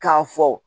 K'a fɔ